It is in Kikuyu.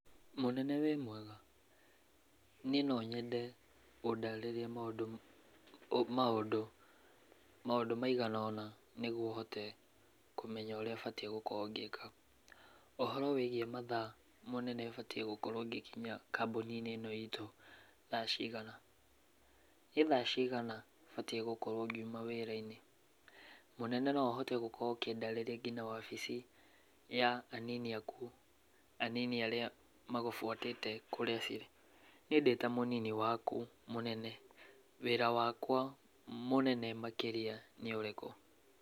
Mũnene wĩ mwega? Niĩ no nyende ũndarĩrie maũndũ, maũndũ, maũndũ maigana ũna nĩgwo hote kũmenya ũrĩa batiĩ gũkorwo ngĩka. Ũhoro wĩigiĩ mathaa mũnene batiĩ gũkorwo ngĩkinya kambuni-inĩ ĩno itũ thaa cigana? Nĩ thaa cigana batiĩ gũkorwo ngiuma wĩra-inĩ? Mũnene no ũhote gũkorwo ũkĩndarĩria ngina wabici ya anini aku, anini arĩa magũbuatĩte kũrĩa cirĩ? Niĩ ndĩta mũnini waku, mũnene, wĩra wakwa mũnene makĩria nĩ ũrĩkũ?